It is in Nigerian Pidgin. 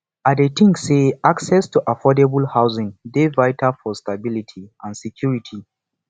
i dey think say access to affordable housing dey vital for stability and security